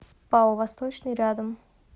пао восточный рядом